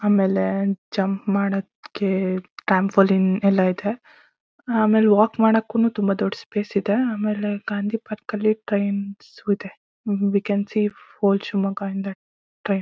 ಆಮೇಲೆ ಜಂಪ್ ಮಾಡೋಕ್ಕೆ ಟ್ರ್ಯಾಂಪೊಲೈನ್ ಎಲ್ಲ ಇದೆ ಆಮೇಲ್ ವಾಕ್ ಮಾಡೋಕ್ಕೂ ತುಂಬಾ ದುಡ್ಡ್ ಸ್ಪೇಸ್ ಇದೆ. ಆಮೇಲೆ ಗಾಂಧಿ ಪಾರ್ಕ್ ಲಿ ಟ್ರೈನ್ ಇದೆ we can see whole Shivamogga in the train .